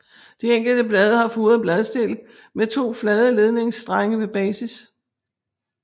De enkelte blade har furet bladstilk med to flade ledningsstrenge ved basis